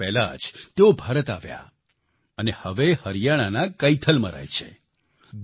બે વર્ષ પહેલાં જ તેઓ ભારત આવ્યા અને હવે હરિયાણાના કૈથલમાં રહે છે